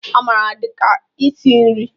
Amara dị ka isi nri